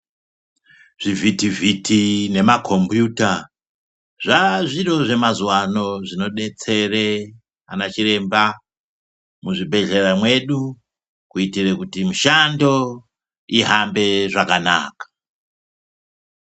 Zvivhitivhiti nemakombiyuta, zvazviro zvemazuva ano zvinodetsera, anachiremba muzvibhedhlera mwedu, kuitire kuti mishando, ihambe zvakanaka.